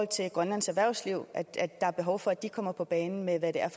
til grønlands erhvervsliv er behov for at de kommer på banen med hvad der er